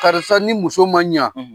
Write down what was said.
Karisa ni muso ma ɲa